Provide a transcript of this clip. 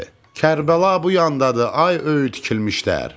Kərbəla bu yandadır, ay öyüd tikilmişlər!